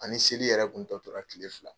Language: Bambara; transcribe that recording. An ni seli yɛrɛ kun tɔ tora kile fila.